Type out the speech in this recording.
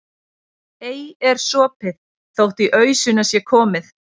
Ei er sopið þótt í ausuna sé komið.